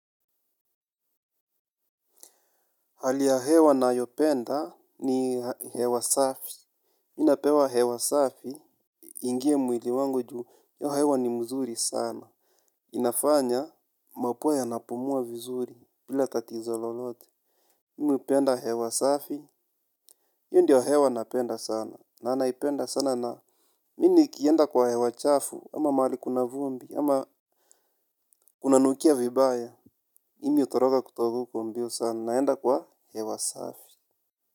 Hali ya hewa nayopenda ni hewa safi. Mi napewa hewa safi. Iingie mwili wangu juu. Hiyo hewa ni mzuri sana. Inafanya. Mapua ya napumua vizuri. Bila tatizo lolote. Mimi hupenda hewa safi. Hiyo ndio hewa napenda sana. Na naipenda sana na. Mi nikienda kwa hewa chafu. Ama mahali kuna vumbi. Ama kunanukia vibaya. Mimi hutoroka kutoka huko mbio sana. Naenda kwa hewa safi.